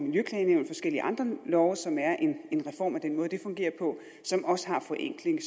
forskellige andre love som er en reform af den måde det fungerer på som også har forenkling